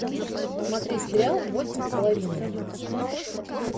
смотреть сериал восемь с половиной